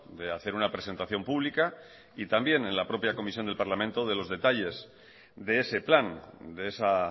de hacer una presentación pública y también en la propia comisión del parlamento de los detalles de ese plan de esa